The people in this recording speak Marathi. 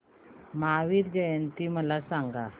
महावीर जयंती मला सांगा